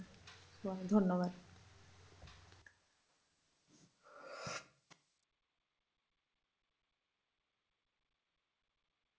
তোমাকে ধন্যবাদ।